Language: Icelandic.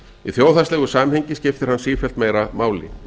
í þjóðhagslegu samhengi skiptir hann sífellt meira máli